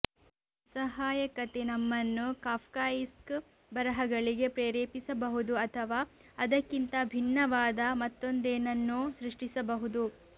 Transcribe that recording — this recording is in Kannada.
ನಿಸ್ಸಹಾಯಕತೆ ನಮ್ಮನ್ನು ಕಾಫ್ಕಯಿಸ್ಕ್ ಬರಹಗಳಿಗೆ ಪ್ರೇರೇಪಿಸಬಹುದು ಅಥವಾ ಅದಕ್ಕಿಂತ ಭಿನ್ನವಾದ ಮತ್ತೊಂದೇನನ್ನೋ ಸೃಷ್ಟಿಸಬಹುದು